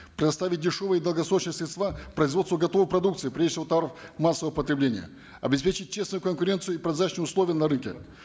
предоставить дешевые долгосрочные средства производству готовой продукции прежде всего товаров массового потребления обеспечить честную конкуренцию и прозрачные условия на рынке